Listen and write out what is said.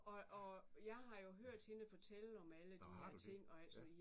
Og og jeg har jo hørt hende fortælle om alle de her ting og alt sådan noget